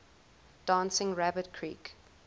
dancing rabbit creek